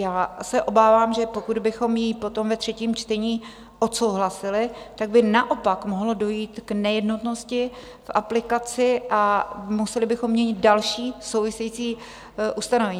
Já se obávám, že pokud bychom ji potom ve třetím čtení odsouhlasili, tak by naopak mohlo dojít k nejednotnosti v aplikaci a museli bychom měnit další související ustanovení.